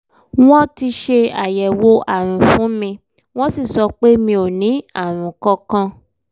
wọ́n ti ṣe àyẹ̀wò àrùn fún mi wọ́n sì sọ pé mi ò ní àrùn kankan